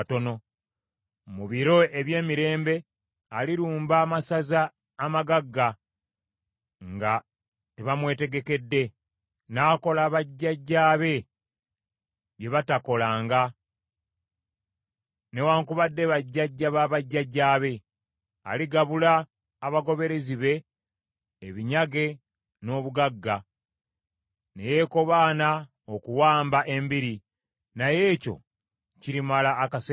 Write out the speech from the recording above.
Mu biro eby’emirembe, alirumba amasaza amagagga, nga tebamwetegekedde, n’akola bajjajjaabe bye bataakolanga newaakubadde bajjajja ba bajjajjaabe. Aligabula abagoberezi be, ebinyage n’obugagga, ne yeekobaana okuwamba embiri, naye ekyo kirimala akaseera katono.